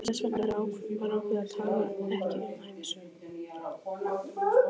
Þess vegna var ákveðið að tala ekki um ævisögu